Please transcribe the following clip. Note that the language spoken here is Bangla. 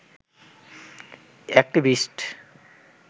এক্টিভিস্ট